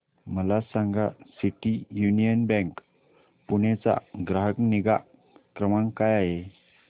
मला सांगा City Union Bank Pune चा ग्राहक निगा क्रमांक काय आहे